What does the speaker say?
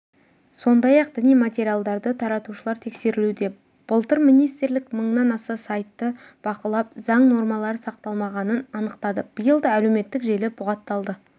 сондай-ақ діни материалдарды таратушылар тексерілуде былтыр министрлік мыңнан аса сайтты бақылап заң нормалары сақталмағанын анықтады биыл да әлеуметтік желі бұғатталды